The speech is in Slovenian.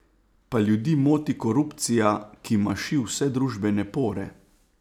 Pa ljudi moti korupcija, ki maši vse družbene pore?